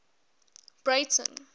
breyten